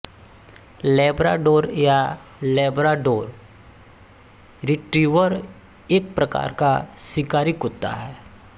Labrador या Labrador retriever एक प्रकार का शिकारी कुत्ता है